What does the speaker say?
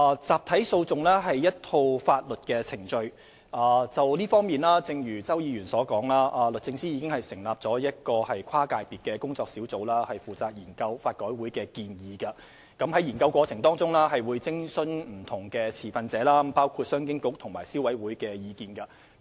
集體訴訟是一套法律程序，而正如周議員所說，就這方面而言，律政司已成立一個跨界別的工作小組負責研究法改會的建議，而在研究過程中會考慮不同持份者包括商務及經濟發展局和消委會的意見。